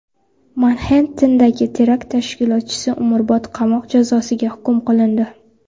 Manxettendagi terakt tashkilotchisi umrbod qamoq jazosiga hukm qilindi.